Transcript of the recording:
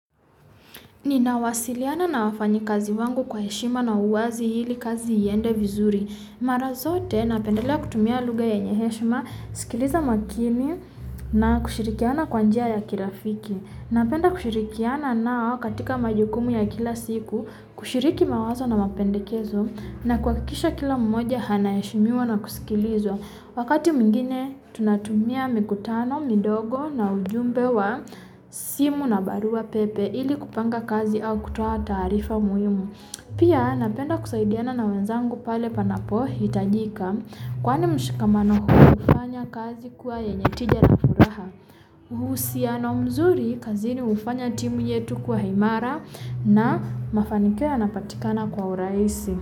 Nina wasiliana na wafanyi kazi wangu kwa eshima na uwazi hili kazi iende vizuri. Mara zote napendela kutumia luga yenye heshima, skiliza makini na kushirikiana kwa njia ya kirafiki. Na penda kushirikiana nawakatika majukumu ya kila siku, kushiriki mawazo na mapendekeso na kwakisha kila mmoja hanaeshimiwa na kuskilizwa. Wakati mengine tunatumia mikutano, midogo na ujumbe wa, simu na baruwa pepe, ili kupanga kazi au kutawa taarifa muwimu. Pia nabenda kusaidiana na wenzangu pale panapohi tajika. Kwane mshikamano hufanya kazi kuwa yenye tija na furaha. Uhusiano mzuri kazini ufanya timu yetu kuwa haimara na mafanikio yanapatikana kwa uraisi.